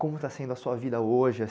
Como está sendo a sua vida hoje,